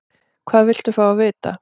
Hvað viltu fá að vita?